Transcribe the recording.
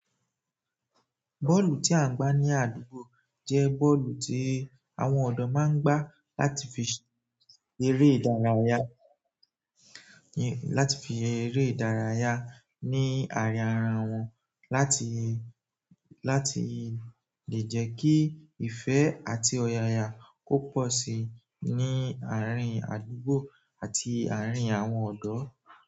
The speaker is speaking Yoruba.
Bọ́ọ̀lù tí à ń gbá ní àdúgbò jẹ́ bọ́ọ̀lù tí àwọn ọ̀dọ́ máa ń gbá láti fi eré ìdárayá, láti fi eré ìdárayá ní àríara wọn, láti, láti lè jẹ́ kí ìfẹ́ àti ọ̀yàyà kó pọ̀ sí i ní àárín àdúgbò àti àárín àwọn ọ̀do.